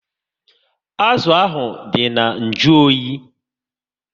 Azụ ahụ dị na nju oyi